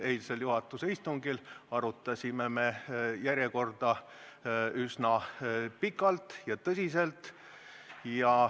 Eilsel juhatuse istungil arutasime me tänast küsimuste järjekorda üsna pikalt ja tõsiselt.